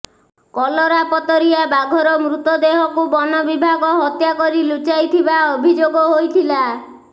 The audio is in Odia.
କଲରାପତରିଆ ବାଘର ମୃତ ଦେହକୁ ବନବିଭାଗ ହତ୍ୟା କରି ଲୁଚାଇଥିବା ଅଭିଯୋଗ ହୋଇଥିଲା